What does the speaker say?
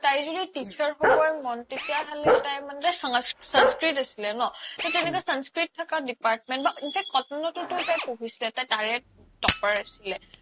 তাই য্দি teacher হ্'বৈ মন তেতিয়া হ্'লে তাই মানে সংস্কৃত আছিলে ন তৌ তেনেকুৱা সংস্কৃত থকা department বা in fact cotton ওতো পঢ়িছিলে তাই তাৰে topper আছিলে